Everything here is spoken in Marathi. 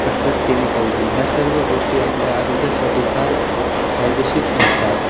कसरत केली पाहिजे ह्या सर्व गोष्टी आपल्या आरोग्यासाठी फार फायदेशीर ठरतात.